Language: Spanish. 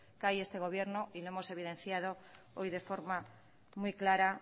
cae este gobierno y lo hemos evidenciado hoy de forma muy clara